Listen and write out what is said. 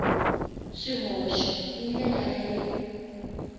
swihoxo hi ndlela ya le